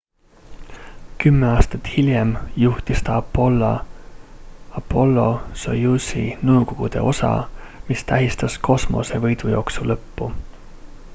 kümme aastat hiljem juhtis ta apollo-soyuzi nõukogude osa mis tähistas kosmose võidujooksu lõppu